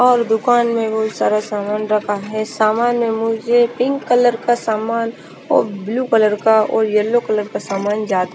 और दुकान में बहोत सारा सामान रखा है सामान में मुझे पिंक कलर का सामान और ब्लू कलर का और येलो कलर का सामान जा--